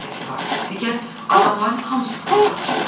Digər adamların hamısı fırıldaqçıdır.